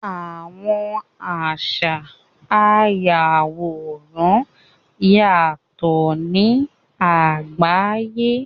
Àwọn àṣa àyàworán yátọ ni àgbàyé.